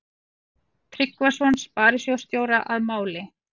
Tryggvason sparisjóðsstjóra að máli.